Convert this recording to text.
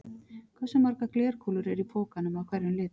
Hversu margar glerkúlur eru í pokanum af hverjum lit?